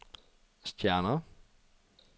stjerner